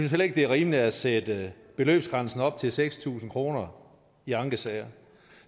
heller ikke det er rimeligt at sætte beløbsgrænsen op til seks tusind kroner i ankesager